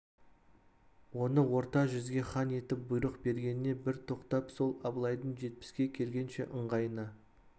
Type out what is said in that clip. оны орта жүзге хан етіп бұйрық бергеніне бір тоқтап сол абылайдың жетпіске келгенше ыңғайына